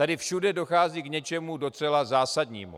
Tady všude dochází k něčemu docela zásadnímu.